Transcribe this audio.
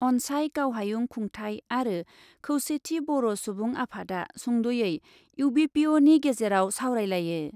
अन्साय गावहायुं खुंथाइ आरो खौसेथि बर' सुबुं आफादआ सुंद'यै इउबिपिअनि गेजेराव सावरायलायो ।